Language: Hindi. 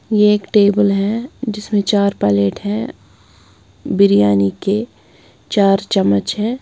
यह एक टेबल है जिसमें चार पैलेट हैं बिरयानी के चार चम्मच हैं।